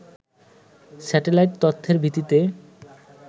satellite তথ্যের ভিত্তিতে